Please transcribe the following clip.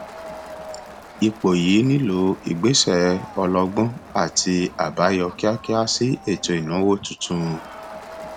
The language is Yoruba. ipò yìí nílò ìgbésẹ ọlọgbọn àti àbáyọ kíákíá sí ètò ìnáwó tuntun